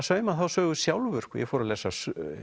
sauma þá sögu sjálfur ég fór að lesa